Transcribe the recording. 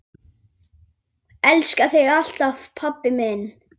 Elska þig alltaf, pabbi minn.